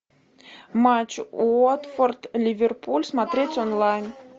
матч уотфорд ливерпуль смотреть онлайн